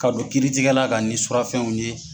Ka don kiiritigɛla ka ni surafɛnw ye.